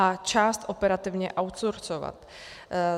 A část operativně outsourcovat.